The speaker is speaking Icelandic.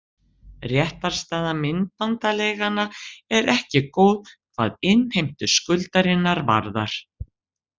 Réttarstaða myndbandaleiganna er ekki góð hvað innheimtu skuldarinnar varðar.